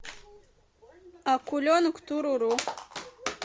акуленок туруру